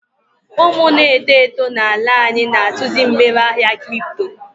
Umu n'eto eto n'ala anyị na-atụzị mgbere ahịa kripto.